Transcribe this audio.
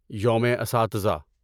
یوم اساتذہ